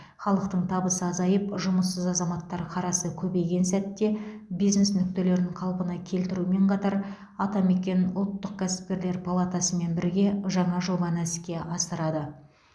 халықтың табысы азайып жұмыссыз азаматтар қарасы көбейген сәтте бизнес нүктелерін қалпына келтірумен қатар атамекен ұлттық кәсіпкерлер палатасымен мен бірге жаңа жобаны іске асырылады